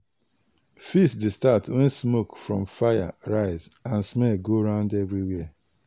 feast dey start when smoke from fire rise and smell go round everywhere.